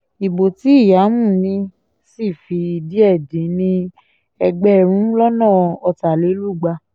ibo tí ìyàmu ní sì fi díẹ̀ dín ní ẹgbẹ̀rún lọ́nà ọ̀tàlélúgba